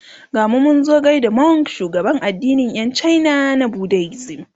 gamu Munzo gaida Monk shugaban addinin Yan china na budaism